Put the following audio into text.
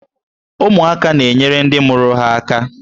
Ụmụaka na-enyere ndị mụrụ ha aka.